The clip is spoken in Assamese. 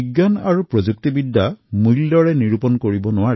বিজ্ঞান আৰু প্ৰযুক্তিৰ মূল্য নিৰপেক্ষ হয়